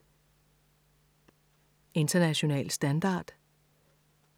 International standard